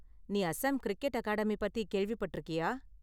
நீ Assam cricket academy பத்தி கேள்விப்பட்டிருக்கியா?